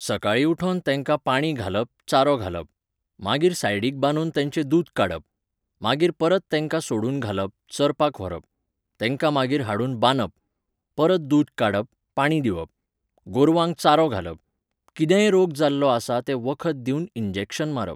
सकाळीं उठोन तेंका पाणी घालप चारो घालप. मागीर सायडिक बांदून तेंचे दूद काडप. मागीर परत तेंका सोडुन घालप, चरपाक व्हरप. तेंका मागीर हाडुन बांदप. परत दूद काडप, पाणी दिवप. गोरवांक चारो घालप. कितेंय रोग जाल्लो आसा तें वखद दिवन इन्जेक्शन मारप.